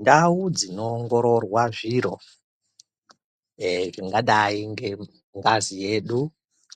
Ndau dzinoongororwa zviro eeh zvingadai ngengazi yedu